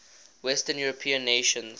western european nations